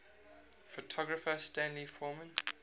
photographer stanley forman